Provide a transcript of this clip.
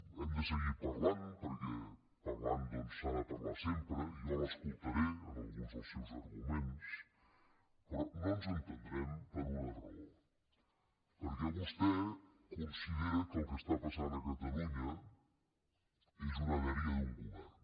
hem de seguir parlant perquè parlar doncs s’ha parlar sempre i jo l’escoltaré en alguns dels seus arguments però no ens entendrem per una raó perquè vostè considera que el que està passant a catalunya és una dèria d’un govern